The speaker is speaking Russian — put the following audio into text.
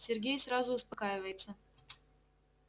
сергей сразу успокаивается